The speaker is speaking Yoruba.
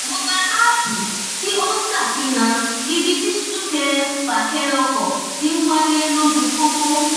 mo gba aápù tí ó n ṣàfihàn ibi tí súnkẹrẹfàkẹrẹ ọkọ ti n wáyé lójú pópó